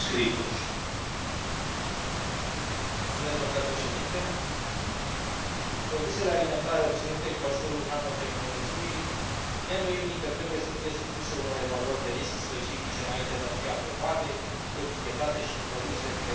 Produsele alimentare obținute cu ajutorul nanotehnologiei, neîndoielnic trebuie să fie supuse unor evaluări de risc specifice înainte de a fi aprobate, etichetate și introduse pe piața europeană, ca și alimentele derivate din animalele clonate și din progeniturile acestora.